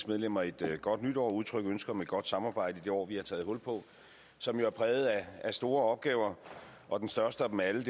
medlemmer et godt nytår og udtrykke ønske om et godt samarbejde i det år vi har taget hul på som jo er præget af store opgaver og den største af dem alle